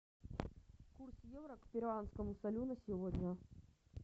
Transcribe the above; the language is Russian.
курс евро к перуанскому солю на сегодня